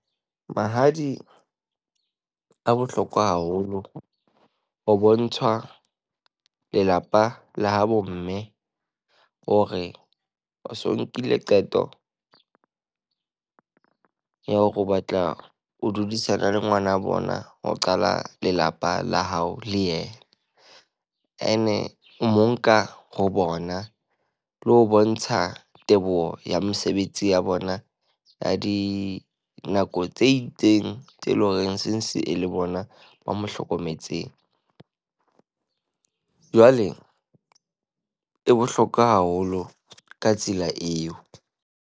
Mahadi a bohlokwa haholo, o bontshwa lelapa la habo mme hore o so nkile qeto ya hore o batla o dudisane le ngwana wa bona. Ho qala lelapa la hao le yena. Ene o mo nka ho bona le ho bontsha teboho ya mesebetsi ya bona, ya di nako tse itseng tse leng horeng since e le bona ba mo hlokometseng. Jwale e bohlokwa haholo ka tsela eo.